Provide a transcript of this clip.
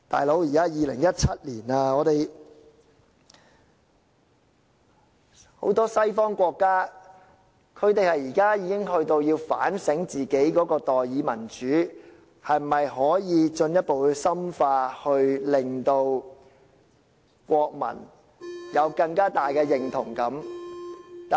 "老兄"，現在已是2017年，很多西方國家已開始反省自己的代議民主是否可以進一步深化，令國民有更大的認同感。